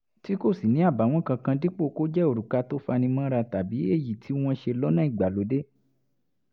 tí kò sì ní àbààwọ́n kankan dípò kó jẹ́ òrùka tó fani mọ́ra tàbí èyí tí wọ́n ṣe lọ́nà ìgbàlódé